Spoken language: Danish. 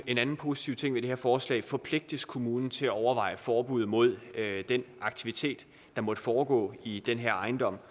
en anden positiv ting ved det her forslag forpligtes kommunen til at overveje forbud mod den aktivitet der måtte foregå i den her ejendom